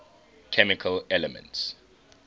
chemical elements